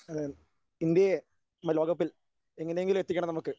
അതെ അതെ ഇന്ത്യയെ ലോകകപ്പിൽ എങ്ങനെയെങ്കിലും എത്തിക്കണം നമുക്ക്.